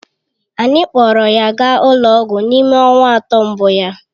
Anyị kpọọrọ ya gaa ụlọ ọgwụ n'ime ọnwa atọ mbụ ya